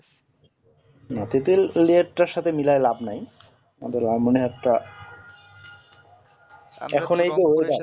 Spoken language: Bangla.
তেতুলিয়াটার সাথে মেলায় লাভ নাই এখনই তো weather